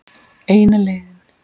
Eina leiðin.